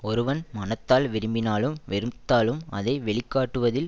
ஒருவன் மனத்தால் விரும்பினாலும் வெறுத்தாலும் அதை வெளிக்காட்டுவதில்